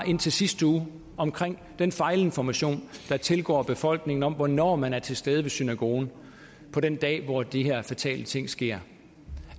indtil sidste uge om den fejlinformation der tilgår befolkningen om hvornår man er til stede ved synagogen den dag hvor de her fatale ting sker